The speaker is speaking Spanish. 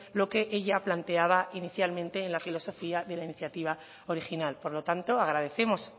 lo que ella planteaba inicialmente en la filosofía de la iniciativa original por lo tanto agradecemos